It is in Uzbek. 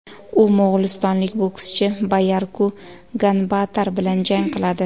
U mo‘g‘ulistonlik bokschi Bayarku Ganbaatar bilan jang qiladi.